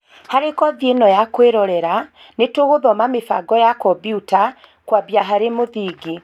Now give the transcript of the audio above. harĩ kothi ïno ya kũĩrorera, nĩtũgũthoma mĩbango ya kombiuta, kwambia harĩ mũthingi